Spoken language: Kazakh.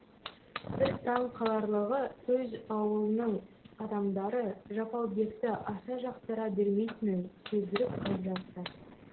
бір таң қаларлығы өз аулының адамдары жапалбекті аса жақтыра бермейтінін сездіріп қалып жатты